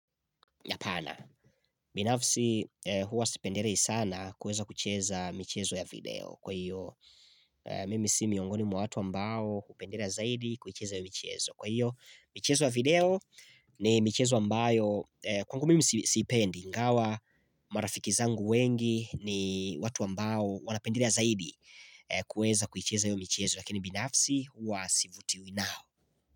Binafsi huwa sipendelei sana kuweza kucheza michezo ya video Kwa hiyo mimi si miongoni mwa watu ambao hupendelea zaidi kucheza michezo Kwa hiyo michezo ya video ni michezo ambayo kwangu mimi siipendi ingawa marafiki zangu wengi ni watu ambao wanapendelea zaidi kuweza kucheza hiyo michezo Lakini binafsi huwa sivutiwi nao.